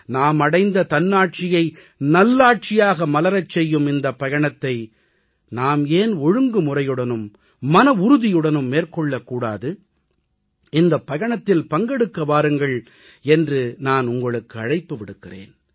நாம் அடைந்த தன்னாட்சியை நல்லாட்சியாக மலரச் செய்யும் இந்தப் பயணத்தை நாம் ஏன் ஒழுங்குமுறையுடனும் மனவுறுதியுடனும் மேற்கொள்ளக் கூடாது இந்தப் பயணத்தில் பங்கெடுக்க வாருங்கள் என்று நான் உங்களுக்கு அழைப்பு விடுக்கிறேன்